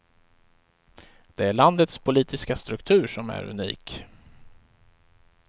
Det är landets politiska struktur som är unik.